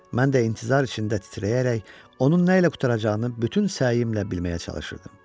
Mən də intizar içində titrəyərək onun nə ilə qurtaracağını bütün səyimlə bilməyə çalışırdım.